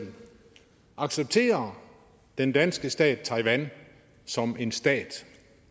accepterer den danske stat taiwan som en stat